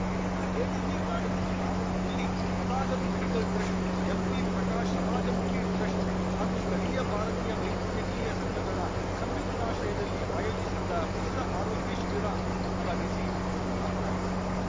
ಇಲ್ಲಿನ ಎಡಿಬಿ ಕಾಲೇಜಿನ ಆವರಣದಲ್ಲಿ ತಥಾಗತ್‌ ಮೆಡಿಕಲ್‌ ಟ್ರಸ್ಟ್‌ ಎಂಪಿಪ್ರಕಾಶ ಸಮಾಜಮುಖಿ ಟ್ರಸ್ಟ್‌ ಹಾಗೂ ಸ್ಥಳೀಯ ಭಾರತೀಯ ವೈದ್ಯಕೀಯ ಸಂಘಗಳ ಸಂಯುಕ್ತಾಶ್ರಯದಲ್ಲಿ ಆಯೋಜಿಸಿದ್ದ ಉಚಿತ ಆರೋಗ್ಯ ಶಿಬಿರ ಉದ್ಘಾಟಿಸಿ ಅವರು ಮಾತನಾಡಿದರು